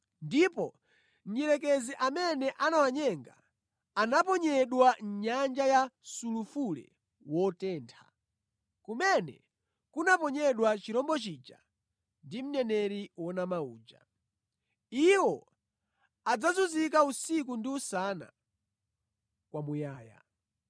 Ndipo Mdierekezi amene anawanyenga, anaponyedwa mʼnyanja ya sulufule wotentha, kumene kunaponyedwa chirombo chija ndi mneneri wonama uja. Iwo adzazunzika usiku ndi usana kwamuyaya.